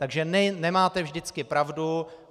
Takže nemáte vždycky pravdu.